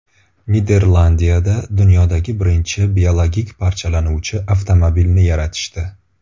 Niderlandiyada dunyodagi birinchi biologik parchalanuvchi avtomobilni yaratishdi.